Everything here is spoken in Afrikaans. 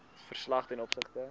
verslag ten opsigte